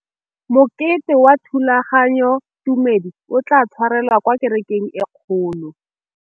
Mokete wa thulaganyôtumêdi o tla tshwarelwa kwa kerekeng e kgolo.